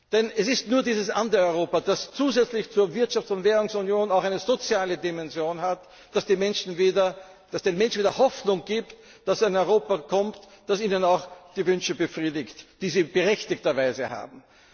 Denn es ist nur dieses andere Europa, das zusätzlich zur Wirtschafts und Währungsunion auch eine soziale Dimension hat, das den Menschen wieder Hoffnung gibt, dass ein Europa kommt, das ihnen auch die Wünsche befriedigt, die sie berechtigterweise haben.